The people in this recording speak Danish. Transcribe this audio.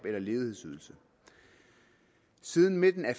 eller ledighedsydelse siden midten af